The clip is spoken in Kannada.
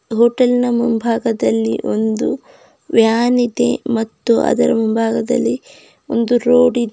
ಹೋಟೆಲ್ ನ ಮುಂಭಾಗದಲ್ಲಿ ಒಂದು ವ್ಯಾನ್ ಇದೆ ಮತ್ತು ಅದರ ಮುಂಭಾಗದಲ್ಲಿ ಒಂದು ರೋಡ್ ಇದೆ.